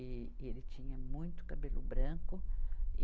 E, e ele tinha muito cabelo branco. e